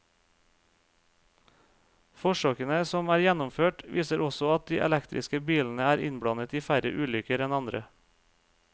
Forsøkene som er gjennomført, viser også at de elektriske bilene er innblandet i færre ulykker enn andre.